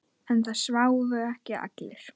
En það sváfu ekki allir.